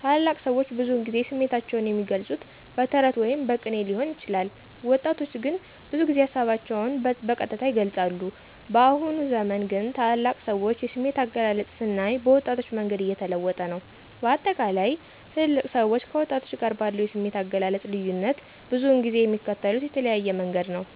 ታላላቅ ሰዎች ብዙውን ጊዜ ስሜታቸውን የሚገልፁት በተረት ወይም በቅኔ ሊሆን ይችላል። ወጣቶች ግን ብዙ ጊዜ ሀሳባቸውን በቀጥታ ይገልፃሉ። በአሁኑ ዘመን ግን ታላላቅ ሰዎች የስሜት አገላለጽ ስናይ በወጣቶች መንገድ እየተለወጠ ነው። በአጠቃላይ ትልልቅ ሰዎች ከወጣቶች ጋር ባለው የስሜት አገላለጽ ልዩነት ብዙውን ጊዜ የሚከተሉት የተለያየ መንገድ ነው።